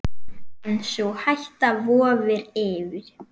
En sú hætta vofir yfir.